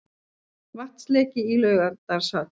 Vatnsleki í Laugardalshöll